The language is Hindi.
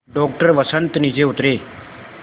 डॉक्टर वसंत नीचे उतरे